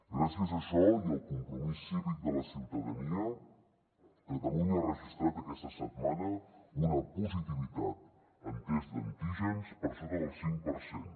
gràcies a això i al compromís cívic de la ciutadania catalunya ha registrat aquesta setmana una positivitat en tests d’antígens per sota del cinc per cent